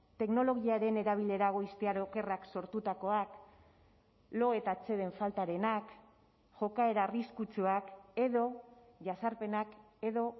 teknologiaren erabilera goiztiar okerrak sortutakoak lo eta atseden faltarenak jokaera arriskutsuak edo jazarpenak edo